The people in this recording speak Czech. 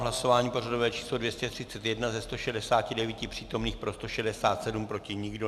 V hlasování pořadové číslo 231 ze 169 přítomných pro 167, proti nikdo.